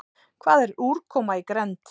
Hvað er úrkoma í grennd?